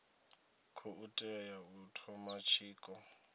khou tea u thoma tshiko